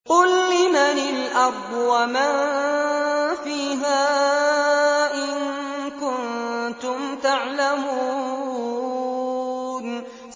قُل لِّمَنِ الْأَرْضُ وَمَن فِيهَا إِن كُنتُمْ تَعْلَمُونَ